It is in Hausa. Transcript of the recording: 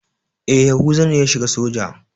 E, Yahuza ne ya shiga soja.